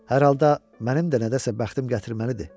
Hər halda mənim də nədəsə bəxtim gətirməlidir.